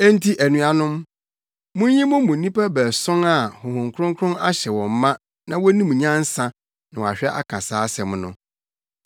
Enti anuanom, munyi mo mu nnipa baason a Honhom Kronkron ahyɛ wɔn ma na wonim nyansa na wɔahwɛ aka saa asɛm no.